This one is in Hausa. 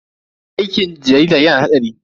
Aikin jarida yana da hatsari.